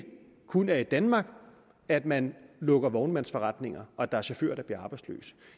kun er i danmark at man lukker vognmandsforretninger og der er chauffører der bliver arbejdsløse